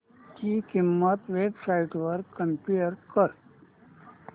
ची किंमत websites वर कम्पेअर कर